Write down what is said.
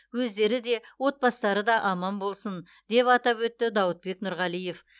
өздері де отбастары да аман болсын деп атап өтті дауытбек нұрғалиев